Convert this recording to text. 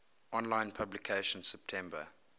online publication september